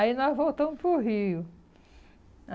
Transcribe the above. Aí nós voltamos para o Rio.